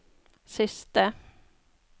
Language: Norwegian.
siste